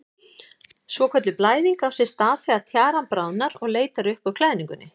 Svokölluð blæðing á sér stað þegar tjaran bráðnar og leitar upp úr klæðingunni.